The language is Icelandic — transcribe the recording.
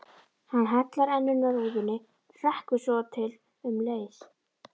Hann hallar enninu að rúðunni, hrekkur upp svotil um leið.